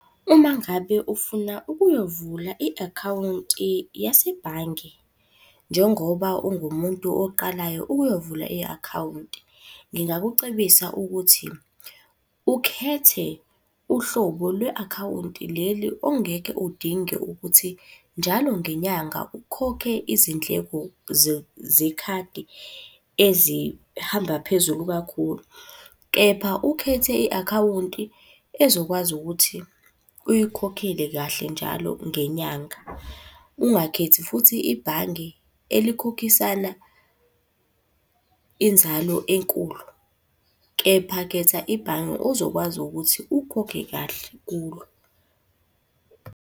Uma ngabe ufuna ukuyovula i-akhawunti yasebhange. Njengoba ungumuntu oqalayo ukuyovula i-akhawunti, ngingakucebisa ukuthi ukhethe uhlobo lwe-akhawunti leli ongeke udinge ukuthi njalo ngenyanga ukhokhe izindleko zekhadi ezihamba phezulu kakhulu. Kepha ukhethe i-akhawunti ezokwazi ukuthi uyikhokhele kahle njalo ngenyanga. Ungakhethi futhi ibhange elikhokhisana inzalo enkulu. Kepha khetha ibhange ozokwazi ukuthi ukhokhe kahle kulo.